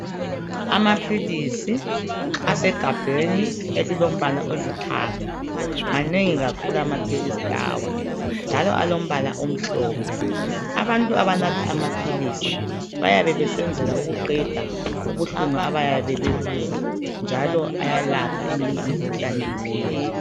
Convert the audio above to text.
Amaphilisi asegabheni elilombala olithanga. Manengi kakhulu amaphilisi lawa, njalo alombala omhlophe. Abantu abanatha amaphilisi bayabe besenzela ukuqeda ubuhlungu abayabe bebuzwa, njalo ayalapha eminye imikhuhlane iphele.